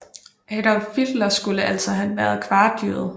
Adolf Hitler skulle altså have været kvartjøde